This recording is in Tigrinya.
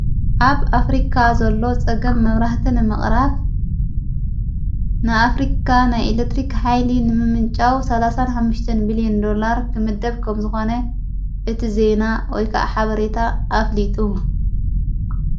ኣብ ኣፍሪካ ዘሎ ጸገም መብራህትን ምቕራፍ ንኣፍሪካ ናይ ኤሌትሪክ ኃይሊ ንምምንጫዊ ሠ ሓተን ብል ዮን ዶላር ክምደብ ከም ዝኾነ እቲ ዘና ወይከዓ ሓበሬታ ኣፍሊጡ::